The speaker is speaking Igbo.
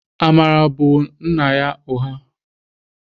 Amara bụ nna ya ụgha.